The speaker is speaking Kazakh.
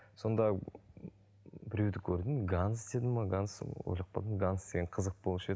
сонда біреуді көрдім ганс деді ме ганс сол ойлап қалдым ганс деген қызық болушы еді